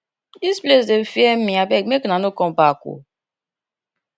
dis place dey fear me abeg make una no come back ooo